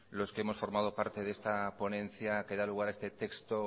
los que hemos formado parte de esta ponencia que da lugar a este texto